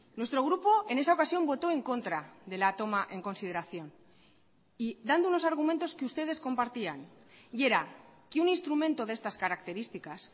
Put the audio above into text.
nuestro grupo en esa ocasión votó en contra de la toma en consideración y dando unos argumentos que ustedes compartían y era que un instrumento de estas características